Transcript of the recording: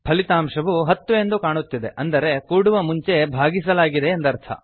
ಫಲಿತಾಂಶವು ೧೦ ಎಂದು ಕಾಣುತ್ತಿದೆ ಅಂದರೆ ಕೂಡುವ ಮುಂಚೆ ಭಾಗಿಸಲಾಗಿದೆ ಎಂದರ್ಥ